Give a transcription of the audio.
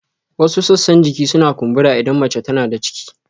Wasu sassan jiki suna kumbura idan mace tana da ciki